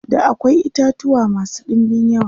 da akwai itatuwa masu ɗinbin yawa